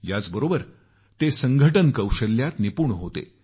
याचबरोबर ते संघटन कौशल्यात निपुण होते